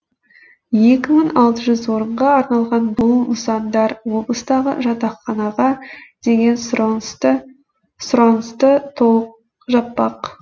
екі мың алты жүз орынға арналған бұл нысандар облыстағы жатақханаға деген сұранысты толық жаппақ